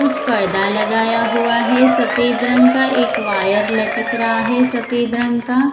कुछ पर्दा लगाया हुआ है सफेद रंग का एक वायर लटक रहां है सफेद रंग का--